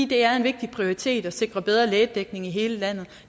det er en vigtig prioritet at sikre bedre lægedækning i hele landet